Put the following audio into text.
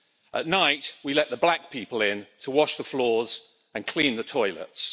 At night, we let the black people in to wash the floors and clean the toilets.